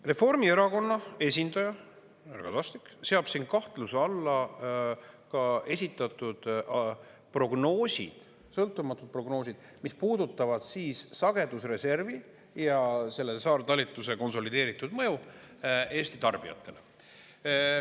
Reformierakonna esindaja härra Kadastik seab siin kahtluse alla ka esitatud prognoosid, sõltumatud prognoosid, mis puudutavad siis sagedusreservi ja selle saartalitluse konsolideeritud mõju Eesti tarbijatele.